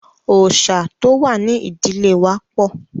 Òòṣà tó wà ní ìdílé wa pọ̀.